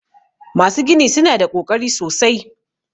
Masu gini su na da ƙoƙari sosai.